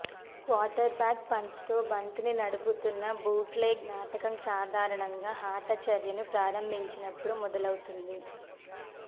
quarterback పంచ్తో బంతిని నడుపుతున్న బూట్లెగ్ నాటకం సాధారణంగా ఆట చర్యను ప్రారంభించినప్పుడు మొదలవుతుంది